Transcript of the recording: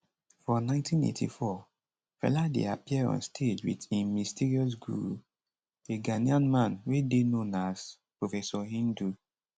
for 1984 fela dey appear on stage wit im mysterious guru a ghanaian man wey dey known as professor hindu